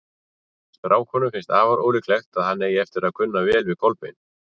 Stráknum finnst afar ólíklegt að hann eigi eftir að kunna vel við Kolbein.